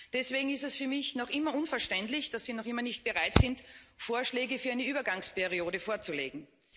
Deswegen ist es für mich noch immer unverständlich, dass Sie noch immer nicht bereit sind, Vorschläge für eine Übergangsperiode vorzulegen.